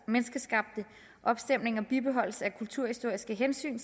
menneskeskabte opstemninger bibeholdes af kulturhistoriske hensyn